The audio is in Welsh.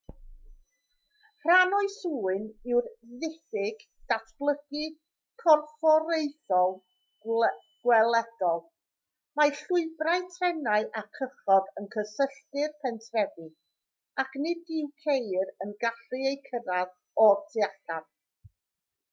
rhan o'i swyn yw'r diffyg datblygu corfforaethol gweledol mae llwybrau trenau a chychod yn cysylltu'r pentrefi ac nid yw ceir yn gallu eu cyrraedd o'r tu allan